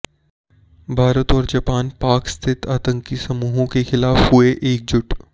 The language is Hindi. भारत और जापान पाक स्थित आतंकी समूहों के खिलाफ हुए एकजुट